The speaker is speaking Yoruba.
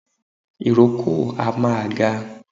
Ìrókò a máa ga